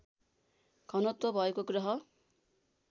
घनत्व भएको ग्रह